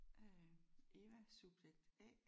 Øh Eva subjekt A